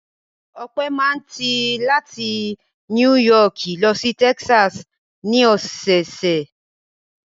Ọpẹ́ máa ń ti láti Núì Yọọkì lọ sí Texas ní ọ̀sẹ̀ẹ̀sẹ̀.